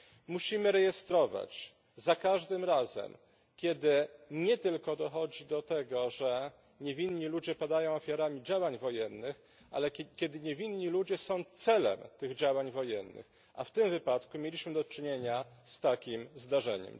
Musimy rejestrować za każdym razem, kiedy nie tylko dochodzi do tego, że niewinni ludzie padają ofiarami działań wojennych, ale kiedy niewinni ludzie są celem tych działań wojennych, a w tym wypadku mieliśmy do czynienia z takim zdarzeniem.